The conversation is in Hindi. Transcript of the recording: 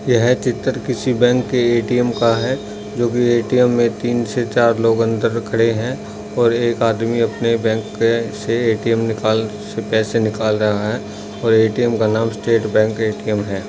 यह चित्र किसी बैंक के ए.टी.एम. का है जो की ए.टी.एम. में तीन से चार लोग अंदर खड़े है और एक आदमी अपने बैंक के से ए.टी.एम. निकाल से पैसे निकाल रहा है और ए.टी.एम. का नाम स्टेट बैंक ए.टी.एम. है।